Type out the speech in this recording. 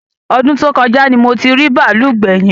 Ọdún tó kọjá ni mo ti rí bàálù gbẹ̀yìn